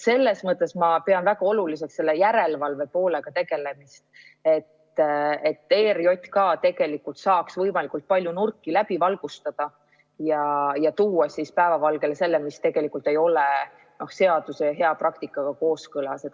Selles mõttes ma pean väga oluliseks järelevalve poolega tegelemist, et ERJK tegelikult saaks võimalikult palju nurki läbi valgustada ja tuua päevavalgele selle, mis ei ole seaduse ja hea praktikaga kooskõlas.